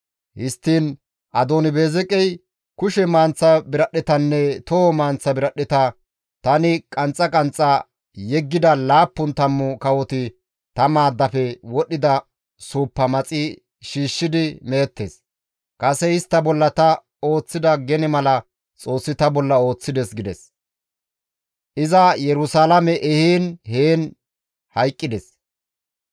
Histtiin Adooni-Beezeqey, «Kushe manththa biradhdhetanne toho manththa biradhdheta tani qanxxa qanxxa yeggida laappun tammu kawoti ta maaddafe wodhdhida suuppa maxi shiishshidi meettes. Kase istta bolla ta ooththida gene mala Xoossi ta bolla ooththides» gides. Iza Yerusalaame ehiin heen hayqqides.